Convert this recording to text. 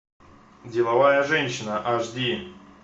деловая женщина аш ди